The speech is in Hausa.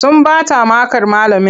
Sun bata makar malamin.